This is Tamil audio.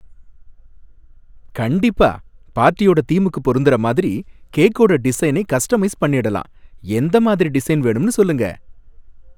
கண்டிப்பா! பார்ட்டியோட தீமுக்குப் பொருந்துற மாதிரி கேக்கோட டிசைனை கஸ்டமைஸ் பண்ணிடலாம், எந்த மாதிரி டிசைன் வேணும்னு சொல்லுங்க?